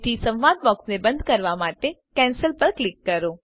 તેથી સંવાદ બોક્સને બંધ કરવા માટે કેન્સલ પર ક્લિક કરો